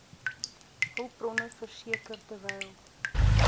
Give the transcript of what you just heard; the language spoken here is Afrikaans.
hulpbronne verseker terwyl